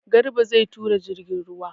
Garba zai tura jirgin ruwa.